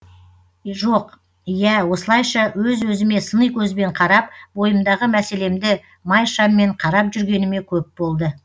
жоқ ия осылайша өз өзіме сыни көзбен қарап бойымдағы мәселемді май шаммен қарап жүргеніме көп болды